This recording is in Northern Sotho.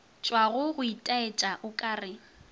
tšwago go itaetša o kare